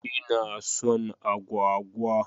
Ina son agwagwa.